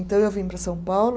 Então eu vim para São Paulo.